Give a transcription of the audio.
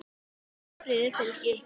Ást og friður fylgi ykkur.